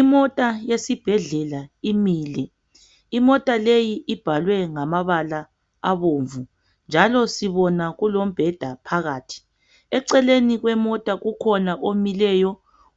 Imota yesibhedlela imile imota leyi ibhalwe ngamabala abomvu njalo sibona kulombheda phakathi eceleni kwemota kukhona omileyo